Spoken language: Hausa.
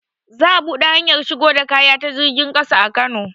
Za a buɗe hanyar shigo da kaya ta jirgin ƙasa a kano